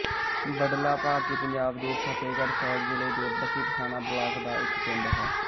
ਬਡਲਾ ਭਾਰਤੀ ਪੰਜਾਬ ਦੇ ਫ਼ਤਹਿਗੜ੍ਹ ਸਾਹਿਬ ਜ਼ਿਲ੍ਹੇ ਦੇ ਬੱਸੀ ਪਠਾਣਾਂ ਬਲਾਕ ਦਾ ਇੱਕ ਪਿੰਡ ਹੈ